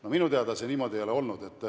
No minu teada see niimoodi ei ole olnud.